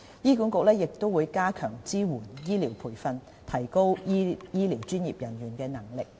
醫管局亦會加強支援醫療培訓，提高醫療專業人員的能力。